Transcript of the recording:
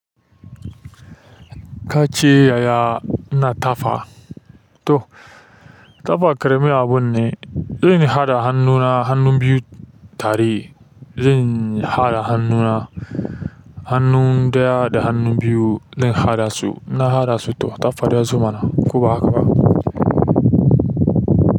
Kace yaya ina tafa? To, tafa ƙaramin abunne. Zai haɗa hannuna hannun biyu tare. Zan haɗa hannu na hannu ɗaya da hannu biyu. Dan haɗa su. Ina haɗasu to tafa yanzumana. Ko ba haka ba?